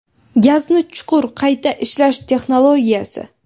Gazni chuqur qayta ishlash texnologiyasi.